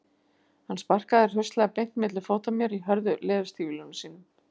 Hann sparkaði hraustlega beint milli fóta mér í hörðu leðurstígvélunum sínum.